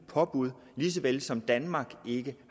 påbud lige såvel som danmark ikke